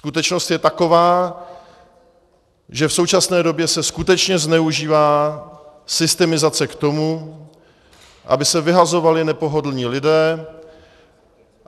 Skutečnost je taková, že v současné době se skutečně zneužívá systemizace k tomu, aby se vyhazovali nepohodlní lidé.